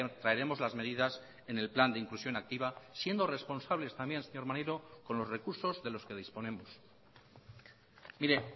traeremos las medidas en el plan de inclusión activa siendo responsables también señor maneiro con los recursos de los que disponemos mire